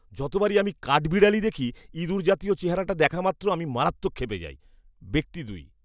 যতবারই আমি কাঠবিড়ালি দেখি, ইঁদুর জাতীয় চেহারাটা দেখা মাত্র আমি মারাত্মক ক্ষেপে যাই। ব্যক্তি দুই